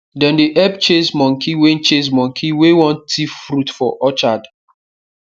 dem dey help chase monkey wey chase monkey wey wan thief fruit for orchard